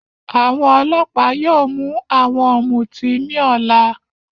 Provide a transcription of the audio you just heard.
Àwọn ọlọ́pàá yóò mú àwọn ọmuti ní àná